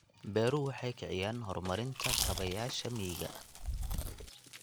Beeruhu waxay kiciyaan horumarinta kaabayaasha miyiga.